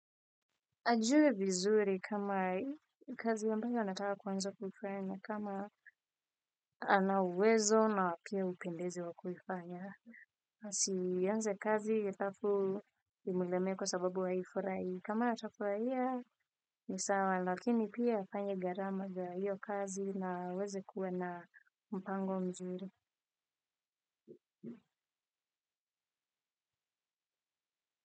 Ajue vizuri kama kazi ambayo anataka kuanza kuifanya na kama anauwezo na pia upendezi wa kuifanya. Asianze kazi alafu imuleme kwa sababu haifurai kama atafuraia nisawa lakini pia afanye gharama za hiyo kazi na aweze kuwa na mpango mzuri.